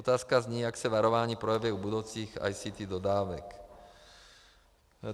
Otázka zní: Jak se varování projeví u budoucích ICT dodávek?